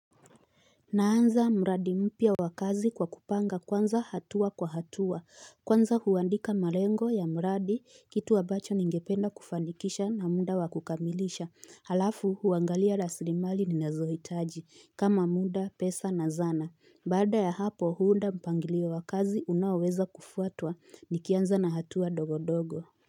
Naanza mradi mpya wa kazi kwa kupanga kwanza hatua kwa hatua Kwanza huandika marengo ya mradi kitu ambacho ningependa kufanikisha na muda wakukamilisha Halafu huangalia raslimali ninazohitaji kama muda pesa na zana Bada ya hapo huunda mpangilio wa kazi unaoweza kufuatwa nikianza na hatua ndogo ndogo.